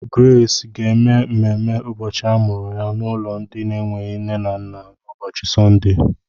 Grace ga-eme mmemmé ụbọchị amụrụ ya n'ụlọ ndị na-enweghị nne na nna n'ụbọchị Sọnde.